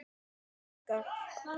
Harpa frænka.